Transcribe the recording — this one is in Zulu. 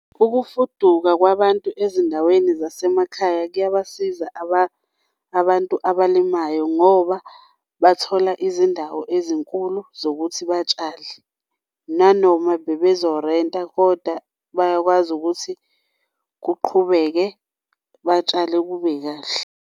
Ukufuduka kwabantu ezindaweni zasemakhaya kuyabasiza abantu abalimayo ngoba bathola izindawo ezinkulu zokuthi batshale nanoma bebezorenta kodwa bayakwazi ukuthi kuqhubeke batshale kube kahle.